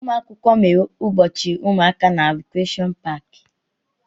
Ụmụ akwụkwọ mere ụbọchị ụmụaka na Rekreshọn paaki.